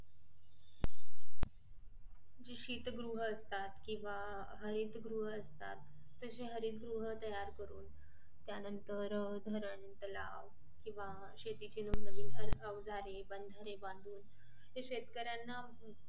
जी शीत गृह असतात केंव्हा हरित गृह असतात तशी हरित गृह तयार करून त्या नंतर अह धरण तलाव केंव्हा शेतीची नवनवीन अवजारे बंधारे बांधून शेतकऱ्यांना